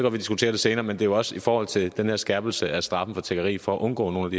at vi diskuterer det senere men det er jo også i forhold til den her skærpelse af straffen for tiggeri for at undgå nogle